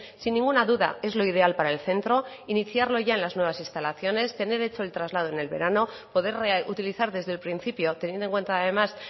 sin ninguna duda es lo ideal para el centro iniciarlo ya en las nuevas instalaciones tener hecho el traslado en el verano poder utilizar desde el principio teniendo en cuenta además